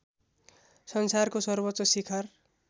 संसारको सर्वोच्च शिखर